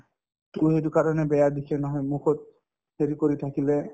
to সেইটো কাৰণে বেয়া দেখি নহয় মুখত হেৰি কৰি থাকিলে